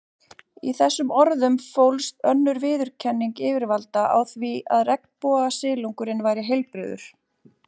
Í þessum orðum fólst önnur viðurkenning yfirvalda á því að regnbogasilungurinn væri heilbrigður.